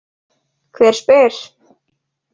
Hver spyr?